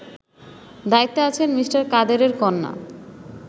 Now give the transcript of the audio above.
দায়িত্বে আছেন মি: কাদেরের কন্যা